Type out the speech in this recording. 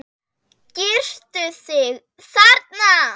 Girtu þig, þarna!